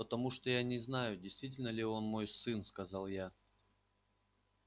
потому что я не знаю действительно ли он мой сын сказал я